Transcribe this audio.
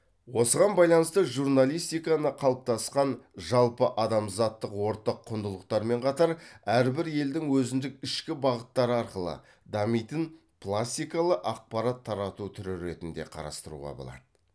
осыған байланысты журналистиканы қалыптасқан жалпы адамзаттық ортақ құндылықтармен қатар әрбір елдің өзіндік ішкі бағыттары арқылы дамитын пластикалы ақпарат тарату түрі ретінде қарастыруға болады